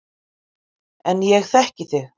En ég þekki þig.